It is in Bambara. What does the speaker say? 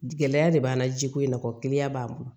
Gɛlɛya de b'an na jiko in na kɔ kiliyan b'an bolo